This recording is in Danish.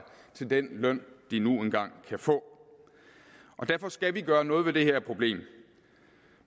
til den løn de nu engang kan få og derfor skal vi gøre noget ved det her problem